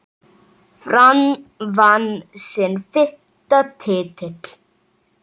Fram vann sinn fimmta titil.